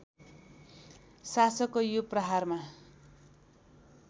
शासकको यो प्रहारमा